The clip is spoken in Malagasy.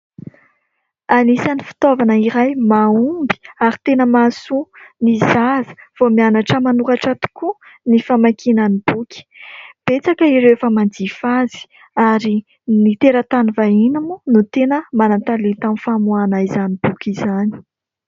Anisan'ny fitaovana iray mahomby ary tena mahasoa ny zaza vao mianatra manoratra tokoa ny famakiana ny boky. Betsaka ireo efa manjifa azy ary ny teratany vahiny moa no tena manan-talenta amin'ny famoahana izany boky izany.